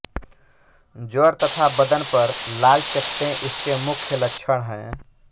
ज्वर तथा बदन पर लाल चकत्ते इसके मुख्य लक्षण हैं